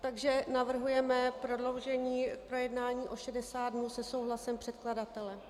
Takže navrhujeme prodloužení projednání o 60 dnů se souhlasem předkladatele.